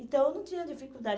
Então, eu não tinha dificuldade.